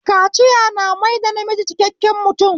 Kaciya na maida namiji cikakken mutum